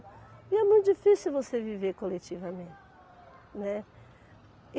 E é muito difícil você viver coletivamente, né.